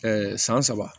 san saba